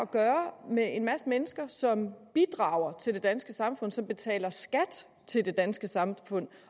gøre med en masse mennesker som bidrager til det danske samfund som betaler skat til det danske samfund